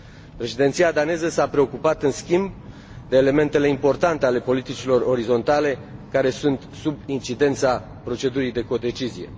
Președinția daneză s a preocupat în schimb de elementele importante ale politicilor orizontale, care sunt sub incidența procedurii de codecizie.